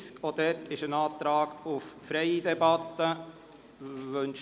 Auch hier wird freie Debatte beantragt.